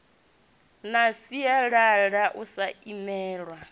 na sialala u sa imelwa